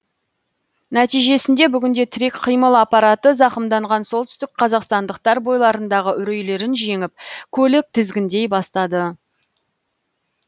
нәтижесінде бүгінде тірек қимыл аппараты зақымданған солтүстік қазақстандықтар бойларындағы үрейлерін жеңіп көлік тізгіндей бастады